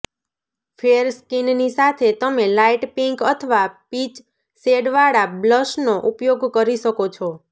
ફેર સ્કિનની સાથે તમે લાઇટ પીંક અથવા પીચ શેડવાળા બ્લશનો ઉપયોગ કરી શકો છો